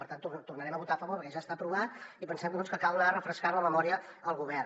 per tant hi tornarem a votar a favor perquè ja està aprovat i pensem que cal anar refrescant la memòria al govern